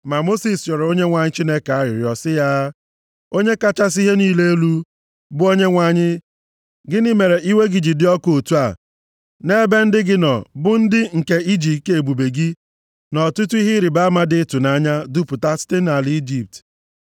Ma Mosis rịọrọ Onyenwe anyị Chineke ya arịrịọ sị ya, “Onye kachasị ihe niile elu, bụ Onyenwe anyị gịnị mere iwe gị ji dị ọkụ otu a nʼebe ndị gị nọ bụ ndị nke i ji ike ebube gị, na ọtụtụ ihe ịrịbama dị ịtụnanya, dupụta site nʼala Ijipt?